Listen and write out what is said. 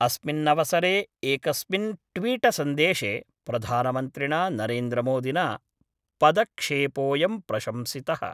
अस्मिन्नवसरे एकस्मिन् ट्वीटसन्देशे प्रधानमन्त्रिणा नरेन्द्रमोदिना पदक्षेपोयं प्रशंसित:।